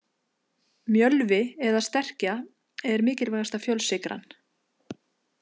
Mjölvi eða sterkja er mikilvægasta fjölsykran.